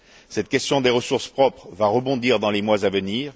Cette question des ressources propres va rebondir dans les mois à venir.